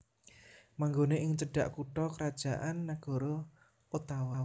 Manggoné ing cedhak kutha krajan nagara Ottawa